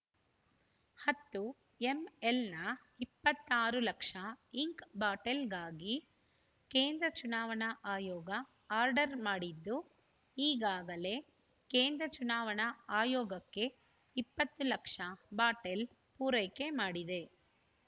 ಹತ್ತು ಎಂಎಲ್ ನ ಇಪ್ಪತ್ತ್ ಆರು ಲಕ್ಷ ಇಂಕ್ ಬಾಟೆಲ್ ಗಾಗಿ ಕೇಂದ್ರ ಚುನಾವಣಾ ಆಯೋಗ ಆರ್ಡರ್ ಮಾಡಿದ್ದು ಈಗಾಗಲೇ ಕೇಂದ್ರ ಚುನಾವಣಾ ಆಯೋಗಕ್ಕೆ ಇಪ್ಪತ್ತು ಲಕ್ಷ ಬಾಟೆಲ್ ಪೂರೈಕೆ ಮಾಡಿದೆ